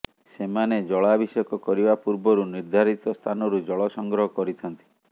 ସେମାନେ ଜଳାଭିଷେକ କରିବା ପୂର୍ବରୁ ନିର୍ଦ୍ଧାରିତ ସ୍ଥାନରୁ ଜଳ ସଂଗ୍ରହ କରିଥାନ୍ତି